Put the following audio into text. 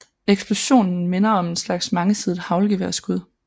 Eksplosionen minder om en slags mangesidet haglgeværskud